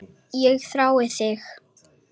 Ég þrái það.